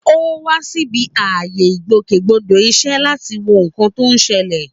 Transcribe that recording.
Ó wá síbi ààyè ìgbòkègbodò iṣẹ́ láti wo nǹkan tó ń ṣẹlẹ̀.